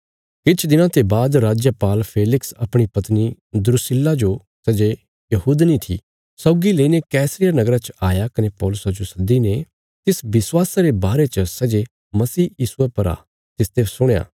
किछ दिनां ते बाद राजपाल फेलिक्स अपणी पत्नी द्रुस्सिला जो सै जे यहूदिनी थी सौगी लईने कैसरिया नगरा च आया कने पौलुसा जो सद्दीने तिस विश्वासा रे बारे च सै जे मसीह यीशुये पर आ तिसते सुणया